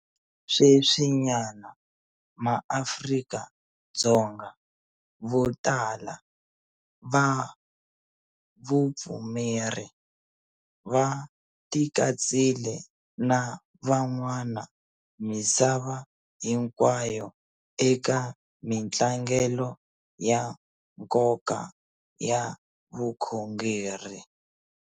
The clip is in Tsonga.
Sweswinyana maAfrika-Dzonga vo tala va vupfumeri va tikatsile na van'wana misava hinkwayo eka mitlangelo ya nkoka ya vukhongeri.